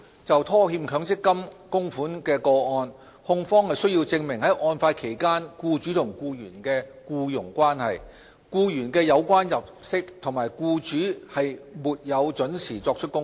就拖欠強積金供款的個案而言，控方須證明案發期間僱主和僱員的僱傭關係、僱員的有關入息，以及僱主沒有依時作出供款。